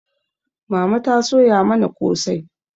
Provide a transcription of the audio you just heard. Mama ta soya mana kosai